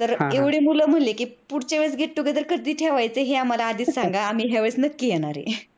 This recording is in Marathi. तर एवढे मुले म्हणले कि पुढच्यावेळेस get together कधी ठेवायच हे आम्हाला आधी सांगा या वेळेस आम्ही नक्की येणार आहे.